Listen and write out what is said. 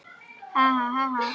Svo var til enda.